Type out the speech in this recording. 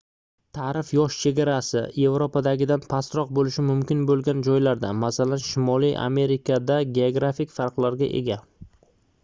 taʼrif yosh chegarasi yevropadagidan pastroq boʻlishi mumkin boʻlgan joylarda masalan shimoliy amerikada geografik farqlarga ega